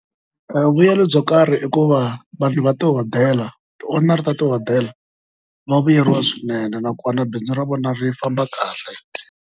Vuyelo byo karhi i ku va vanhu va tihodela ti-owner ta tihodela va vuyeriwa swinene nakona bindzu ra vona ri famba kahle.